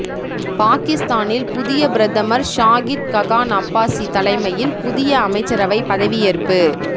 பாகிஸ்தானில் புதிய பிரதமர் ஷாகித் ககான் அப்பாஸி தலைமையில் புதிய அமைச்சரவை பதவியேற்பு